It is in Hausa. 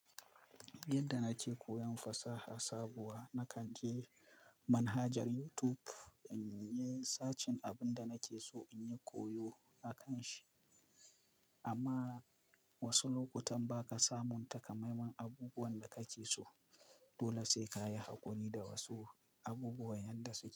Yadda nake koyan fasaha sabuwa, na kan je manhajar YouTube in yi searching abin da nake so in yi koyo a kan shi. Anma wasu lokutan baka samun taƙamaimaimen abubuwan da kake so dole sai kayi hakuri da wasu abubuwan yanda suke.